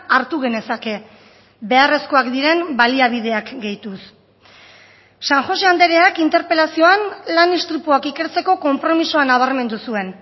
hartu genezake beharrezkoak diren baliabideak gehituz san josé andreak interpelazioan lan istripuak ikertzeko konpromisoa nabarmendu zuen